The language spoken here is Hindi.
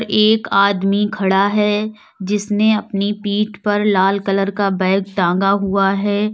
एक आदमी खड़ा है जिसने अपनी पीठ पर लाल कलर का बैग टांगा हुआ है।